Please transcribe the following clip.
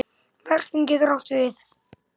Verslun getur átt við